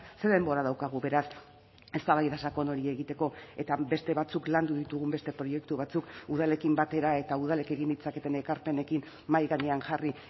ze denbora daukagu beraz eztabaida sakon hori egiteko eta beste batzuk landu ditugun beste proiektu batzuk udalekin batera eta udalek egin ditzaketen ekarpenekin mahai gainean jarri